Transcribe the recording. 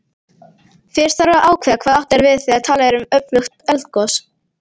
Fyrst þarf að ákveða hvað átt er við þegar talað er um öflugt eldgos.